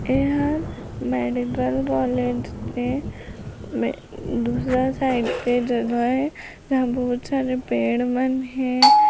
एहा medical college के दूसरा साइड से जगह एजहाँ बहुर सारे पेड़ मन हे ।